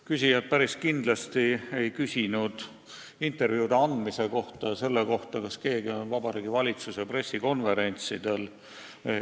Küsijad päris kindlasti ei küsinud intervjuude andmise ega selle kohta, kas keegi osaleb Vabariigi Valitsuse pressikonverentsidel.